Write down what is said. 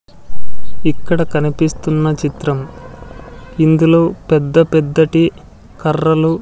ఇక్కడ కనిపిస్తున్న చిత్రం ఇందులో పెద్దపెద్దటి కర్రలు--